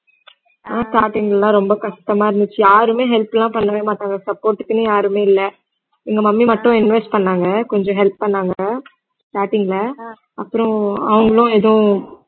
ஆனா starting ல எல்லாம் ரொம்ப கஷ்டமா இருந்துச்சு யாருமே help லாம் பண்ணவே மாட்டாங்க support க்குன்னு யாருமே இல்ல எங்க mummy மட்டும் invest பண்ணாங்க கொஞ்சம் help பண்ணாங்க starting ல அப்புறம் அவங்களும் எதுவும்